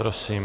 Prosím.